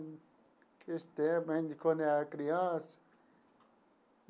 Aqueles tempo né de quando era criança.